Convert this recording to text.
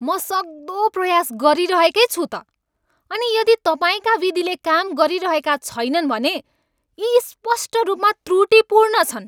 म सक्दो प्रयास गरिरहेकै छु त, अनि यदि तपाईँका विधिले काम गरिरहेका छैनन् भने यी स्पष्ट रूपमा त्रुटिपूर्ण छन्।